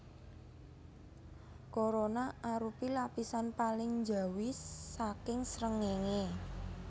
Korona arupi lapisan paling njawi saking srengéngé